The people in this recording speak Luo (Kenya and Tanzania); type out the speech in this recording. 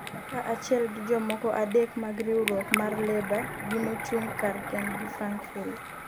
kaachiel gi jomoko adek mag riwruok mar Leba gi mochung' kar kendgi, Frank Field